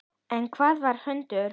En hvaða hundur?